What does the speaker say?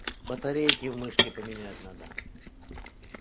батарейки в мышке поменять надо